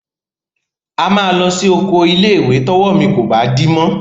A máa lọ sí oko ilé-ìwé tọ́wọ́ mi kò bá dí mọ́.